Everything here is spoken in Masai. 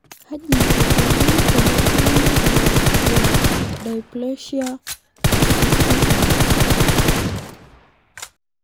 Kaji eikoni tenejungi fibrodysplasia ossificans?